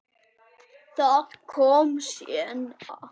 Það kom seinna.